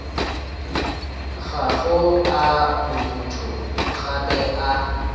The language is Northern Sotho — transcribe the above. gago a borutho gape a